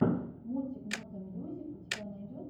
мультик мото мьюзик у тебя найдется